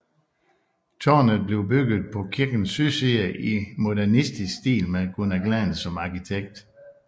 Tårnet blev bygget på kirkens sydside i modernistisk stil med Gunnar Glahn som arkitekt